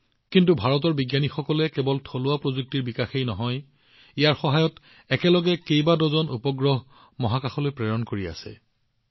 কিন্তু ভাৰতৰ বিজ্ঞানীসকলে কেৱল থলুৱা প্ৰযুক্তিৰ বিকাশ কৰাই নহয় আজি ইয়াৰ সহায়ত একেলগে কেইবা ডজনো উপগ্ৰহ মহাকাশলৈ প্ৰেৰণ কৰিছে